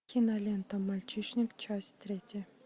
кинолента мальчишник часть третья